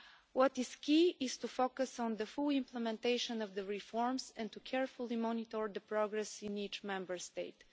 What is key is to focus on the full implementation of the reforms and to carefully monitor the progress in each Member State.